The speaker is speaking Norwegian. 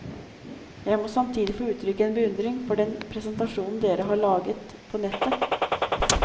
Jeg må samtidig få utrykke en beundring for den presentasjonen dere har laget på nettet.